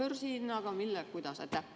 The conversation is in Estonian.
Kas börsihinnaga, millega, kuidas?